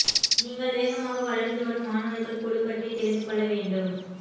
நீங்கள் வேகமாக வளர்ந்து வரும் மாணவர்கள் குழு பற்றி தெரிந்து கொள்ள வேண்டும்